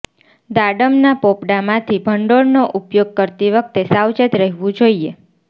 દાડમના પોપડામાંથી ભંડોળનો ઉપયોગ કરતી વખતે સાવચેત રહેવું જોઈએ